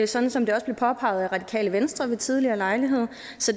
sådan som det også blev påpeget af radikale venstre ved tidligere lejlighed